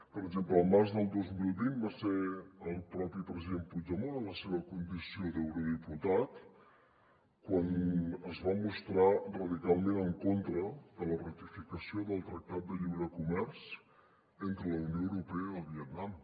per exemple al març del dos mil vint va ser el propi president puigdemont en la seva condició d’eurodiputat quan es va mostrar radicalment en contra de la ratificació del tractat de lliure comerç entre la unió europea i el vietnam